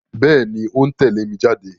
Bẹ́ẹ̀ni, ó ń tẹ̀lé mi jáde